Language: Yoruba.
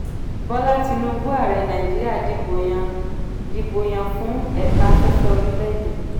bola tinubu ààrẹ nàìjíríà dìbò yàn dìbò yàn fún ẹ̀ka afẹ́fẹ́ orílẹ̀ èdè.